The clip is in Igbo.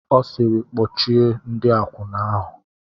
Ọ sịịrị, kpọchie ndị akwụna ahụ!